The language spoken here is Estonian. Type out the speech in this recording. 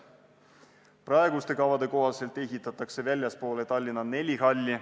Praeguste kavade kohaselt ehitatakse väljapoole Tallinna neli halli.